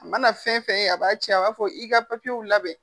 A mana fɛn fɛn ye a b'a ce a b'a fɔ i ka papiyewu labɛn.